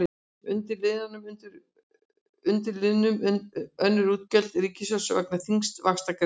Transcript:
Undir liðnum önnur útgjöld ríkissjóðs vega þyngst vaxtagreiðslur.